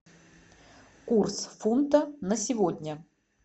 курс фунта на сегодня